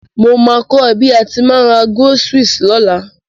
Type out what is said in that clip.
Mo ma ko ẹ bi a ti ma n ra groceries lọ́la